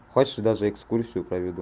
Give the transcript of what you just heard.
хочешь даже экскурсию проведу